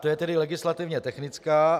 To je tedy legislativně technická.